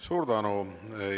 Suur tänu!